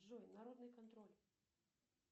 джой народный контроль